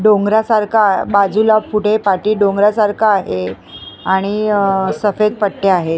डोंगरासारखा बाजूला पुढे पाटी डोंगरासारखा आहे आणि सफेद पट्ट्या आहेत.